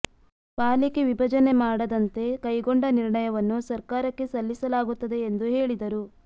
ಪಾಲಿಕೆ ವಿಭಜನೆ ಮಾಡದಂತೆ ಕೈಗೊಂಡ ನಿರ್ಣಯವನ್ನು ಸರ್ಕಾರಕ್ಕೆ ಸಲ್ಲಿಸಲಾಗುತ್ತದೆ ಎಂದು ಹೇಳಿದರು